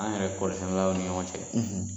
An yɛrɛ kɔri sɛnɛlaw ni ɲɔgɔn cɛ